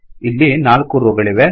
ಇಲ್ಲಿ ನಾಲ್ಕು ರೋ ಗಳಿವೆ